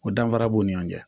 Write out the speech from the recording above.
O danfara b'u ni ɲɔgɔn cɛ